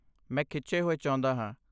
ਮੈਂ ਖਿੱਚੇ ਹੋਏ ਚਾਹੁੰਦਾ ਹਾਂ।